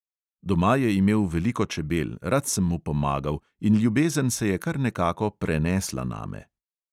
Doma je imel veliko čebel, rad sem mu pomagal in ljubezen se je kar nekako prenesla name.